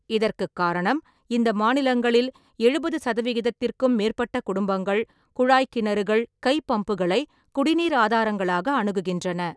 இதற்குக் காரணம், இந்த மாநிலங்களில் எழுபது சதவிகிதத்திற்க்கும் மேற்பட்ட குடும்பங்கள் குழாய்க் கிணறுகள் / கைப்பம்புகளை குடிநீர் ஆதாரங்களாக அணுகுகின்றன.